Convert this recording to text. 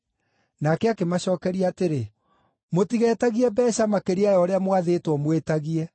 Nake akĩmacookeria atĩrĩ, “Mũtigetagie mbeeca makĩria ya ũrĩa mwathĩtwo mwĩtagie.”